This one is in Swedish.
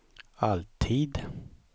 alltid